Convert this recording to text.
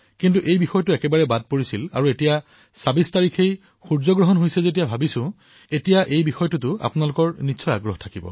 কিন্তু এই বিষয়টো অলক্ষিতে থাকি গৈছিল আৰু অলপতে ২৬ তাৰিখে হোৱা সূৰ্যগ্ৰহণৰ ফলত এই বিষয়টোৱে বোধহয় আপোনালোকক স্পৰ্শ কৰিবলৈ সমৰ্থ হৈছে